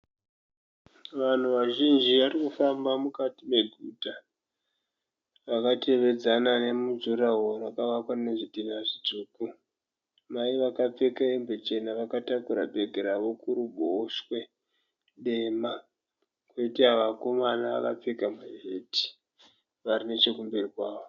Vanhu vazhinji varikufamba mukati meguta. Vakatevedzana nemujuraworo makavakwa nezvidhinha zvitsvuku. Mai vakapfeka hembe chena vakatakura bhegi ravo kuruboshwe dema. Poita vakomana vakapfeka tisheti vari nechekumberi kwavo.